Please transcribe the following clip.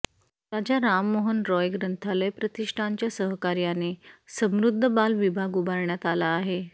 राजा राममोहन रॉय ग्रंथालय प्रतिष्ठानच्या सहकार्याने समृद्ध बाल विभाग उभारण्यात आला आहे